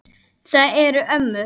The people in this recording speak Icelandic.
Það eru ömmur.